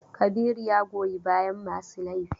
Kabiru ya goyi bayan masu laifi.